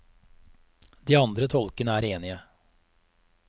De andre tolkene er enige.